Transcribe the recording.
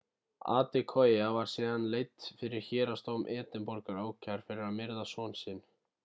adekoya var síðan leidd fyrir héraðsdóm edinborgar ákærð fyrir að myrða son sinn